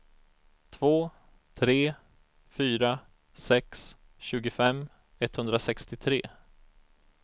två tre fyra sex tjugofem etthundrasextiotre